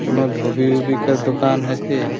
कोनो धोबी -ऊबी का दुकान है के --